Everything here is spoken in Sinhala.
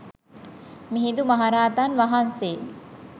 මිහිඳු මහරහතන් වහන්සේ